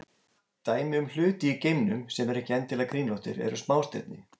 Dæmi um hluti í geimnum sem eru ekki endilega kringlóttir eru smástirni.